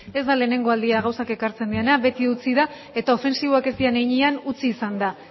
ez da lehenengo aldia gauzak ekartzen direla beti utzi da eta ofentsiboak ez diren heinean utzi izan da